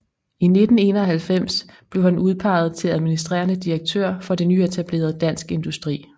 I 1991 blev han udpeget til administrerende direktør for det nyetablerede Dansk Industri